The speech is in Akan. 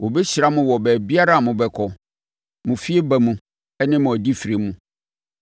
Wɔbɛhyira mo wɔ baabiara a mobɛkɔ, mo fieba mu ne mo adifire mu.